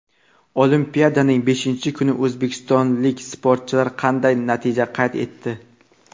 Olimpiadaning beshinchi kuni o‘zbekistonlik sportchilar qanday natija qayd etdi?.